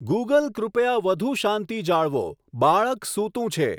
Google કૃપયા વધુ શાંતિ જાળવો બાળક સૂતું છે